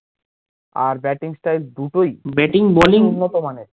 আর batting style দুটোই